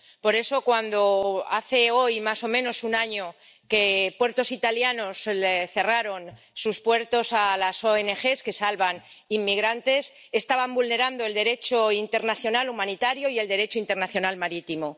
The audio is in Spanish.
Por eso, cuando hace hoy más o menos un año que puertos italianos cerraron el acceso a las ONG que salvan inmigrantes, estaban vulnerando el Derecho internacional humanitario y el Derecho internacional marítimo.